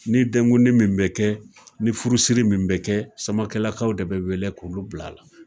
Ni denkundi min bɛ kɛ, ni furusiri min bɛ kɛ Samakɛlakaw de bɛ wele k'u bila a la